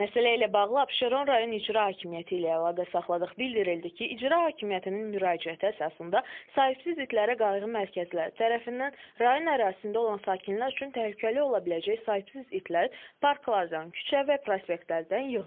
Məsələ ilə bağlı Abşeron rayon İcra Hakimiyyəti ilə əlaqə saxladıq, bildirildi ki, İcra Hakimiyyətinin müraciəti əsasında sahibsiz itlərə qayğı mərkəzləri tərəfindən rayon ərazisində olan sakinlər üçün təhlükəli ola biləcək sahibsiz itlər parklardan, küçə və prospektlərdən yığılıb.